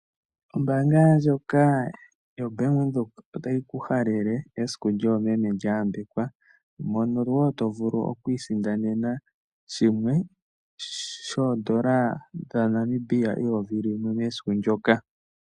Ombaanga ndjoka yoBank Windhoek otayi ku halele esiku lyoomeme lya yambekwa mono wo to vulu oku isindanena shimwe shoodola dhaNamibia eyovi limwe mesiku ndyoka.